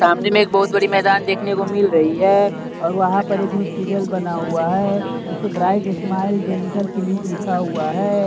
सामने में एक बहुत बड़ी मैदान देखने को मिल रही है और वहां पर एक हॉस्पिटल बना हुआ है उसे ब्राइट स्माइल डेंटल क्लिनिक लिखा हुआ है।